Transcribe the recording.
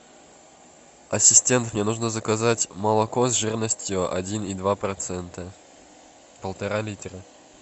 ассистент мне нужно заказать молоко с жирностью один и два процента полтора литра